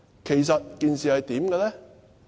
其實，事情是怎樣的呢？